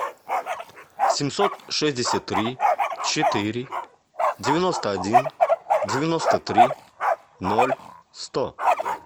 семьсот шестьдесят три четыре девяносто один девяносто три ноль сто